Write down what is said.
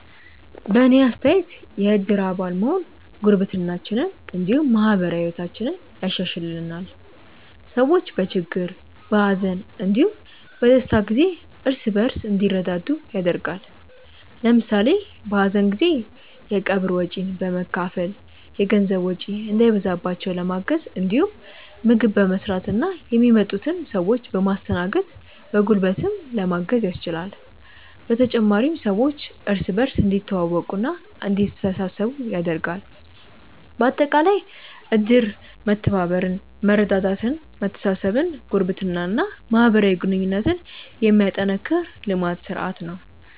በእኔ አስተያየት የእድር አባል መሆን ጉርብትናችንን እንዲሁም ማህበራዊ ህይወታችንን ያሻሻሽልልናል። ሰዎች በችግር፣ በሀዘን እንዲሁም በደስታ ጊዜ እርስ በእርስ እንዲረዳዱ ያደርጋል። ለምሳሌ በሀዘን ጊዜ የቀብር ወጪን በመካፈል የገንዘብ ወጪ እንዳይበዛባቸው ለማገዝ እንዲሁም ምግብ በመስራትና የሚመጡትን ሰዎች በማስተናገድ በጉልበትም ለማገዝ ያስችላል። በተጨማሪም ሰዎች እርስ በእርስ እንዲተዋወቁና እንዲተሳሰቡ ያደርጋል። በአጠቃላይ እድር መተባበርን፣ መረዳዳትን፣ መተሳሰብን፣ ጉርብትናን እና ማህበራዊ ግንኙነትን የሚያጠናክር ልማድ (ስርአት) ነው።